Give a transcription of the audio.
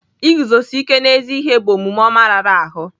Iguzosi ike n'ezi ihe bụ omume ọma rara ahụ.